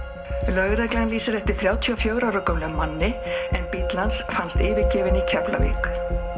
lögreglan lýsir eftir þrjátíu og fjögurra ára gömlum manni en bíll hans fannst yfirgefinn í Keflavík